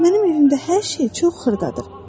Mənim evimdə hər şey çox xırdadır.